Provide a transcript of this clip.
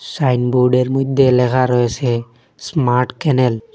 সাইনবোর্ডের মধ্যে লেখা রয়েসে স্মার্ট কেনেল ।